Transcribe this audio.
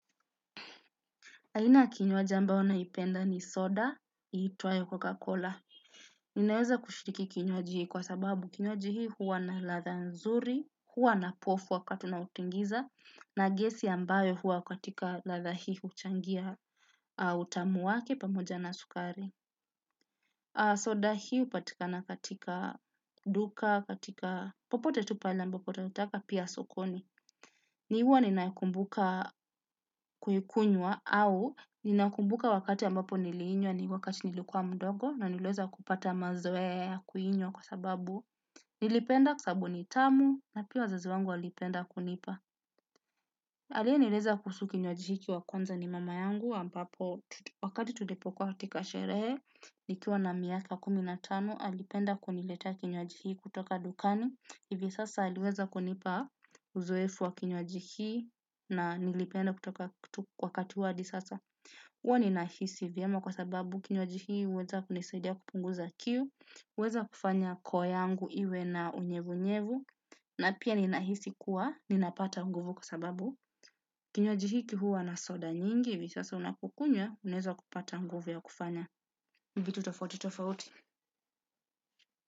Aina ya kinywaji ambayo naipenda ni soda, iitwayo kokakola. Ninaweza kushiriki kinywaji kwa sababu kinywaji hii huwa na ladha nzuri, huwa na pofu wakati unautingiza, na gesi ambayo huwa katika ladha hii huchangia utamu wake pamoja na sukari. Soda hii hupatika na katika duka, katika popote tu pale ambapo tunataka pia sokoni. Ni huwa ninakumbuka kuikunywa au ninakumbuka wakati ambapo niliinywa ni wakati nilikuwa mdogo na niliweza kupata mazoea kuinywa kwa sababu nilipenda kwa sababu ni tamu na pia wazazi wangu walipenda kunipa. Aliyenileza kuhusu kinywaji hiki wa kwanza ni mama yangu ambapo wakati tulipokuwa hatika sherehe nikiwa na miaka kumi na tano alipenda kuniletea kinywaji hii kutoka dukani hivi sasa aliweza kunipa uzoefu wa kinywaji hii na nilipenda kutoka wakati wa hadi sasa. Huwa ninahisi vyema kwa sababu kinywaji hii huweza kunisaidia kupunguza kiu, huweza kufanya koo yangu iwe na unyevunyevu, na pia ninahisi kuwa, ninapata nguvu kwa sababu. Kinywaji hiki huwa na soda nyingi, hivi sasa unapokunywa, unaeza kupata nguvu ya kufanya. Vitu tofauti tofauti.